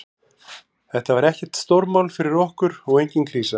Þetta var ekkert stórmál fyrir okkur og engin krísa.